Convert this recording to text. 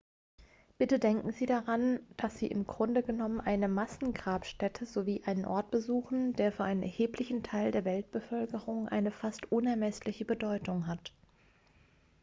bitte denken sie daran dass sie im grunde genommen eine massengrabstätte sowie einen ort besuchen der für einen erheblichen teil der weltbevölkerung eine fast unermessliche bedeutung hat